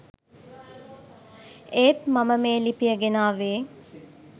ඒත් මම මේ ලිපිය ගෙනාවේ